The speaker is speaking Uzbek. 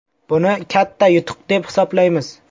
Buni katta yutuq deb hisoblaymiz.